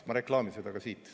Ma reklaamin seda ka siit.